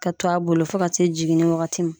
Ka to a bolo fo ka se jiginni wagati ma.